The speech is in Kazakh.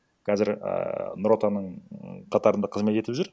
қазір ііі нұр отанның қатарында қызмет етіп жүр